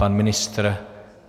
Pan ministr.